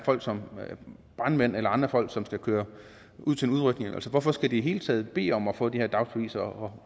folk som brandmænd eller andre folk som skal køre ud til en udrykning hvorfor skal de i det hele taget bede om at få de her dagsbeviser og